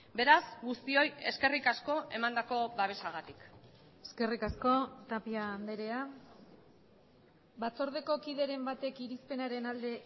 beraz guztioi eskerrik asko emandako babesagatik eskerrik asko tapia andrea batzordeko kideren batek irizpenaren alde